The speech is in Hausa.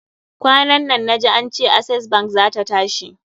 Kwanan nan na ji ance Access bank zata tashi.